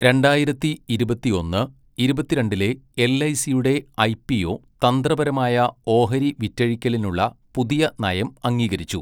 രണ്ടായിരത്തി ഇരുപത്തിയൊന്ന്, ഇരുപത്തിരണ്ടിലെ എൽഐസിയുടെ ഐപിഒ തന്ത്രപരമായ ഓഹരി വിറ്റഴിക്കലിനുള്ള പുതിയ നയം അംഗീകരിച്ചു